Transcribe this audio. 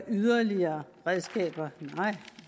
yderligere redskaber nej